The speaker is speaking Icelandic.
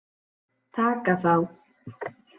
Taka þá!